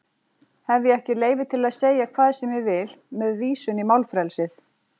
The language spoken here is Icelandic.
Hef ég ekki leyfi til að segja hvað sem ég vil með vísun í málfrelsið?